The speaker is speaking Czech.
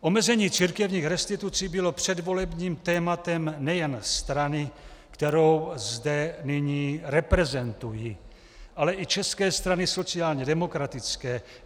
Omezení církevních restitucí bylo předvolebním tématem nejen strany, kterou zde nyní reprezentuji, ale i České strany sociálně demokratické.